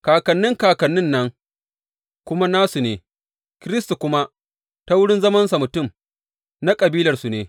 Kakannin kakannin nan kuma nasu ne, Kiristi kuma, ta wurin zamansa mutum, na kabilarsu ne.